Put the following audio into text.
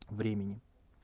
времени